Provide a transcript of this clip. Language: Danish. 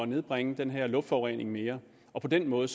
nedbringe den her luftforurening mere og på den måde